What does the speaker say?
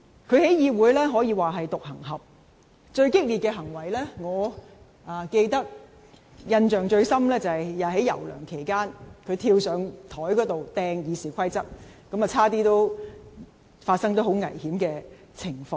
他在議會可說是獨行俠，最激烈的行為，我印象最深的就是，在梁游事件期間，他跳上檯面擲《議事規則》，差點發生很危險的情況。